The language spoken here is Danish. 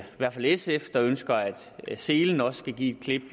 hvert fald er sf der ønsker at selen også skal give et klip